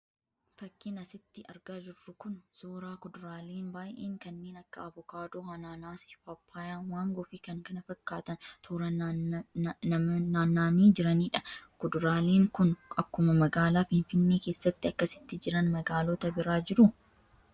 Fakkiin asitti argaa jirru kun suuraa kuduraaleen baay'een kanneen akka avokaadoo, anaanaasii, paappayyaa, maangoo fi kan kana fakkaatan tooran nammanii jiraniidha. Kuduraaleen kun akkuma magaalaa Finfinnee keessatti akkasitti jiran magaalota biraa jiru?